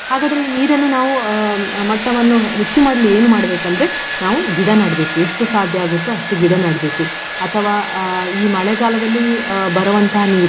ಹಾಗಾದ್ರೆ ಈ ನೀರನ್ನು ನಾವು ಅಹ್ ಮಟ್ಟವನ್ನು ಹೆಚ್ಚು ಮಾಡ್ಲಿ ಏನು ಮಾಡ್ಬೇಕಂದ್ರೆ ನಾವು ಗಿಡ ನಡ್ಬೇಕು ಎಷ್ಟು ಸಾಧ್ಯ ಆಗುತ್ತೋ ಅಷ್ಟು ಗಿಡ ನಡ್ಬೇಕು. ಅಥವಾ ಈ ಅಹ್ ಮಳೆಗಾಲದಲ್ಲಿ ಅಹ್ ಬರುವಂತಹ ನೀರು